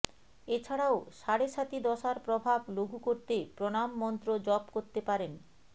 এ ছাড়াও সাড়ে সাতি দশার প্রভাব লঘু করতে প্রণাম মন্ত্র জপ করতে পারেন